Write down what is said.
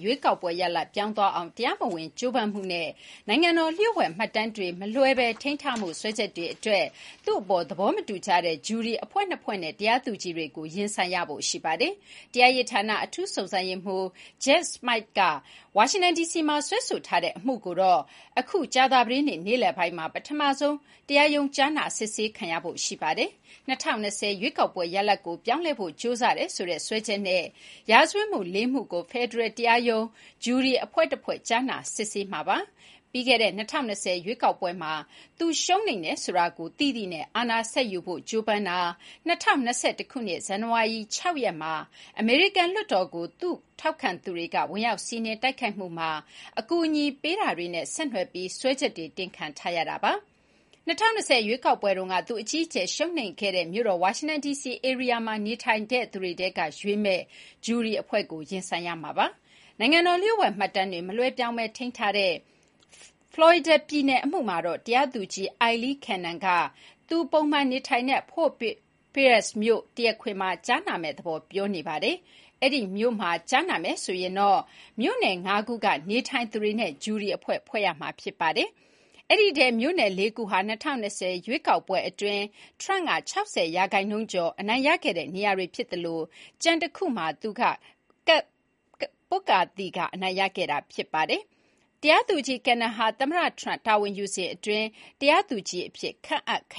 ရွေးကောက်ပွဲရလဒ်ပြောင်းသွားအောင် တရားမဝင်ကြိုးပမ်းမှုနဲ့ နိုင်ငံတော်လျှို့ဝှက်မှတ်တမ်းတွေမလွှဲဘဲ ထိန်းထားမှု စွဲချက်တွေအတွက် သူ့အပေါ်သဘောထားမတူကြတဲ့ ဂျူရီအဖွဲ့နှစ်ဖွဲ့နဲ့ တရားသူကြီးတွေကို ရင်ဆိုင်ရဖို့ရှိပါတယ်။ တရားရေးဌာနအထူးစုံစမ်းရေးမှူး Jack Smite က ဝါရှင်တန်ဒီစီမှာ စွဲဆိုထားတဲ့အမှုကိုတော့ အခု ကြာသာပတေးနေ့လယ်ပိုင်းမှာ ပထမဆုံး တရားရုံးကြားနာစစ်ဆေးခံရဖို့ရှိပါတယ်။ ၂၀၂၀ ရွေးကောက်ပွဲရလဒ်ကို ပြောင်းလဲဖို့ကြိုးစားတယ်ဆိုတဲ့ စွဲချက်နဲ့ ရာဇဝတ်မှု (၄) မှုကို ဖယ်ဒရယ်တရားရုံး ဂျူရီအဖွဲ့တဖွဲ့ ကြားနာစစ်ဆေးပါလိမ့်မယ်။ ပြီးခဲ့တဲ့ ၂၀၂၀ ရွေးကောက်ပွဲမှာ သူရှုံးနိမ့်တယ်ဆိုတာကို သိသိနဲ့ အာဏာဆက်ယူဖို့ ကြိုးပမ်းတာ၊ ၂၀၂၁ ခုနှစ် ဇန်နဝါရီ ၆ ရက်မှာ အမေရိကန်လွှတ်တော်ကို သူ့ထောက်ခံသူတွေက ဝင်ရောက်စီးနင်းတိုက်ခိုက်မှုမှာ အကူအညီပေးတာတွေနဲ့ ဆက်နွယ်ပြီး စွဲချက်တွေတင်ခံထားရတာပါ။ ၂၀၂၀ ရွေးကောက်ပွဲတုန်းက သူအကြီးအကျယ်ရှုံးနိမ့်ခဲ့တဲ့ မြို့တော်ဝါရှင်တန်ဒီစီ ဧရိယာမှာ နေထိုင်တဲ့သူတွေထဲကရွေးမယ့် ဂျူရီအဖွဲ့ကို ရင်ဆိုင်ရမှာပါ။ နိုင်ငံတော်လျှို့ဝှက်မှတ်တမ်းတွေ မလွှဲပြောင်းဘဲထိန်းထားတဲ့ ဖေလော်ရီဒါပြည်နယ်အမှုမှာတော့ တရားသူကြီး Aileen Cannon က သူ ပုံမှန်ထိုင်တဲ့ Fort Pierce မြို့ တရားခွင်မှာ ကြားနာမယ့်သဘော ပြောနေပါတယ်။ အဲဒီ မြို့မှာ ကြားနာမယ်ဆိုရင်တော့ မြို့နယ်ငါးခုက နေထိုင်သူတွေနဲ့ ဂျူရီအဖွဲ့ဖွဲ့ရမှာပါ။ အဲဒီအထဲ မြို့နယ်လေးခုဟာ ၂၀၂၀ ရွေးကောက်ပွဲအတွင်း Trump က ၆၀ ရာခိုင်နှုန်းကျော်အနိုင်ရခဲ့တဲ့ နေရာတွေဖြစ်သလို ကျန်တခုမှာ သူက ကပ်သီအနိုင်ရခဲ့တာပါ။ တရားသူကြီး Cannon ဟာ သမ္မတ Trump တာဝန်ယူစဉ်အတွင်း တရားသူကြီးအဖြစ် ခန့်အပ်ခ